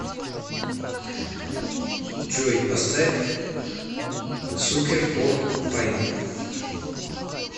джой поставь сукер фор пайн